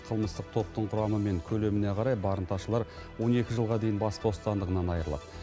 қылмыстық топтың құрамы мен көлеміне қарай барымташылар он екі жылға дейін бас бостандығынан айырылады